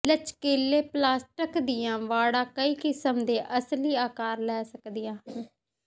ਲਚਕੀਲੇ plastic ਦੀਆਂ ਵਾੜਾਂ ਕਈ ਕਿਸਮ ਦੇ ਅਸਲੀ ਆਕਾਰ ਲੈ ਸਕਦੀਆਂ ਹਨ